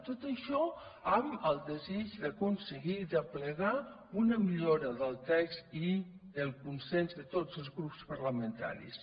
tot això amb el desig d’aconseguir i d’aplegar una millora del text i el consens de tots els grups parlamentaris